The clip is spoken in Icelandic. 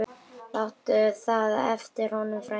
Láttu það eftir honum, frændi.